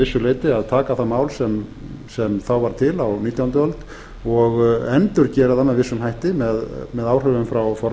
leyti að taka það mál sem þá var til á nítjándu öld og endurgera það með vissum hætti með áhrifum frá